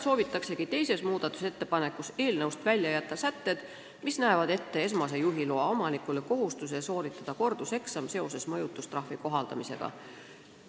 Teises muudatusettepanekus soovitakse eelnõust välja jätta sätted, mis kohustavad esmase juhiloa omanikku seoses mõjutustrahvi kohaldamisega sooritama korduseksami.